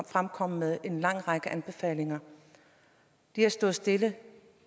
fremkommet med en lang række anbefalinger det har stået stille